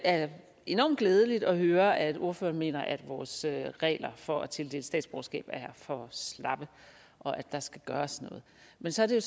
er enormt glædeligt at høre at ordføreren mener at vores regler for at tildele statsborgerskab er for slappe og at der skal gøres noget men så er det